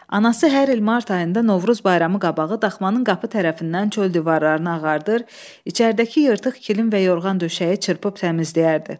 Anası hər il mart ayında Novruz bayramı qabağı daxmanın qapı tərəfindən çöl divarlarını ağardır, içəridəki yırtıq kilim və yorğan döşəyi çırpıb təmizləyərdi.